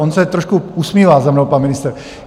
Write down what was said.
On se trošku usmívá za mnou pan ministr.